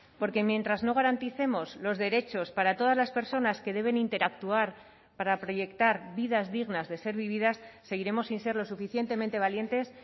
porque mientras no garanticemos los derechos para todas las personas que deben interactuar para proyectar vidas dignas de ser vividas seguiremos sin ser lo suficientemente valientes